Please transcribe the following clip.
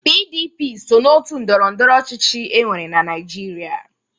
PDP so n'òtù ndọrọ ndọrọ ọchịchị e nwere na Naịjirịa.